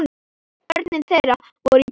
Börn þeirra voru í bílnum.